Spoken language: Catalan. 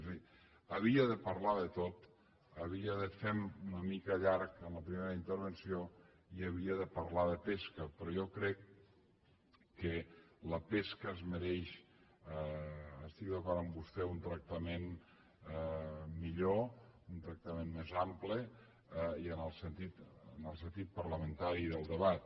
és a dir havia de parlar de tot havia de fer me una mica llarg en la primera intervenció i havia de parlar de pesca però jo crec que la pesca es mereix estic d’acord amb vostè un tractament millor un tractament més ample en el sentit parlamentari del debat